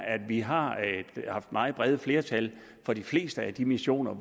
at vi har haft meget brede flertal for de fleste af de missioner